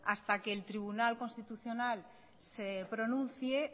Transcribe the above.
hasta que el tribunal constitucional se pronuncie